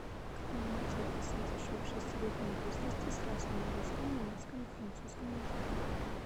кто начал писать еще в шестилетнем возрасте сразу на русском немецком и французском языках